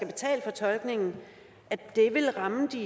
betale for tolkningen vil ramme de